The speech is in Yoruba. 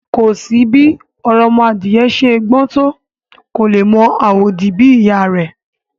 Kò sí bí òròmọadìyẹ ṣe gbọ́n tó, kò lè mọ àwòdì bí ìyá a rẹ̀